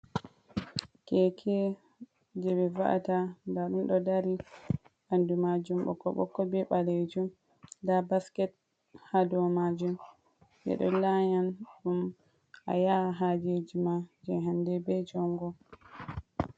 Keke je ɓe va’ata nda ɗum ɗo dari ɓandu majum ɓokko ɓokko be ɓalejum, nda basket ha dow majum ɓeɗo laya ɗum a yaa hajeji ma je hande be jongo.